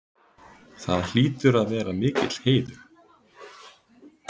Það hlýtur að vera mikill heiður?